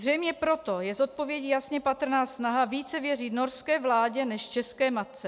Zřejmě proto je z odpovědí jasně patrná snaha více věřit norské vládě než české matce.